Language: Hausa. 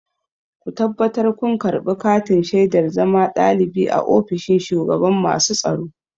Ku tabbatar kun karɓi katin shaidar zama ɗalibi a ofishin shugaban masu tsaro!